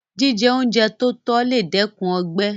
Jíjẹ oúnjẹ tótọ́ lè dẹ́kun ọgbẹ́